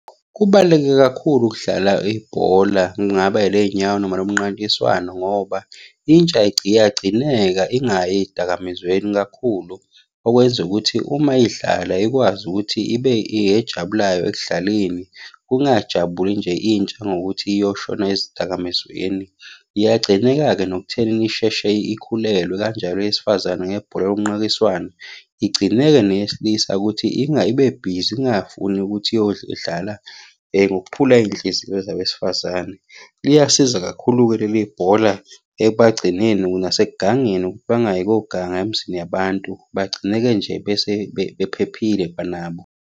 Kubaluleke kakhulu ukudlala ibhola, kungaba eley'nyawo noma elomnqankiswano ngoba intsha iyagcineka ingayi ey'dakamizweni kakhulu. Okwenza ukuthi uma idlala ikwazi ukuthi ibe yejabulayo ekudlaleni. Kungajabuli nje intsha ngokuthi iyoshona ezidakamizweni, iyagcineka-ke nokuthenini isheshe ikhulelwe kanjalo eyesifazane nebhola lomnqakiswano. Igcineke neyesilisa ukuthi ibebhizi ingafuni ukuthi iyodlala ngokuphula iy'nhliziyo zabesifazane. Liyasiza kakhulu-ke leli bhola ekubagcineni nasekugangeni ukuthi bangayi koganga emizini yabantu, bagcine-ke nje bephephile kwanabo.